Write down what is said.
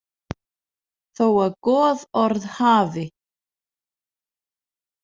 Þó að goðorð hafi.